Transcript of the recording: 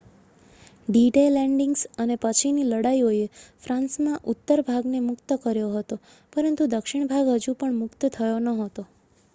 D-Day landings અને પછીની લડાઈઓએ ફ્રાન્સના ઉત્તર ભાગને મુક્ત કર્યો હતો પરંતુ દક્ષિણ ભાગ હજુ પણ મુક્ત થયો નહોતો